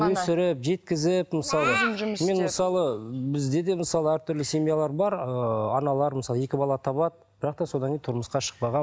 өсіріп жеткізіп мысалы мен мысалы бізде де мысалы әртүрлі семьялар бар ыыы аналар мысалы екі бала табады бірақ та содан кейін тұрмысқа шықпаған